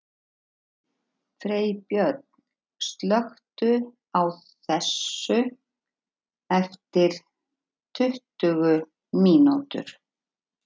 Freybjörn, slökktu á þessu eftir tuttugu mínútur.